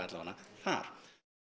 þar